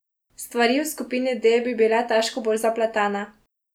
Stvari v skupini D bi bile težko bolj zapletene.